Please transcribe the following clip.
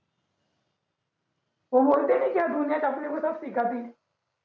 हो बोलते कि दुनियेत आपल्यापेक्षा असते का ती